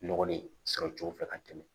Nɔgɔlen sɔrɔ cogo fɛ ka tɛmɛ